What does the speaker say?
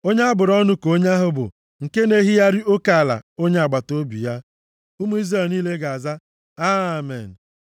“Onye a bụrụ ọnụ ka onye ahụ bụ nke na-ehigharị oke ala onye agbataobi ya.” Ụmụ Izrel niile ga-aza, “Amen.”